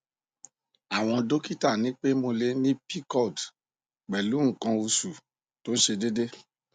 àwọn dọkítà ní pé mo lè ní pcod pẹlú nǹkan oṣù tó ṣe déédé